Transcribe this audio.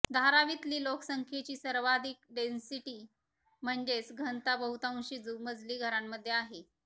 धारावीतली लोकसंख्येची सर्वाधीक डेन्सिटी म्हणजेच घनता बहुतांशी दुमजली घरांमध्ये आहे